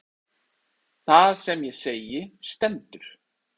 Það sem ég segi stendur.